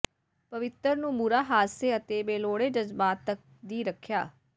ਪਵਿੱਤਰ ਨੂੰ ਬੁਰਾ ਹਾਦਸੇ ਅਤੇ ਬੇਲੋੜੇ ਜਜ਼ਬਾਤ ਤੱਕ ਦੀ ਰੱਖਿਆ